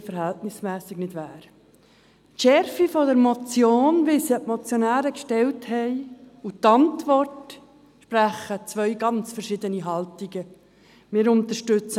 Aus der Motion mit deren Schärfe, wie sie von den Motionären eingereicht wurde, und der Antwort sprechen zwei ganz verschiedene Haltungen.